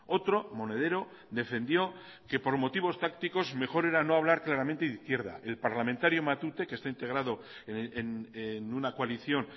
otro monedero defendió que por motivos tácticos mejor era no hablar claramente de izquierda el parlamentario matute que está integrado en una coalición